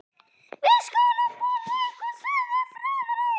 Við skulum borða eitthvað sagði Friðrik.